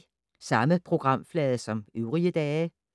Samme programflade som øvrige dage